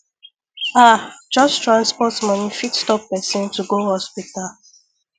ah just transport money fit stop person to go hospital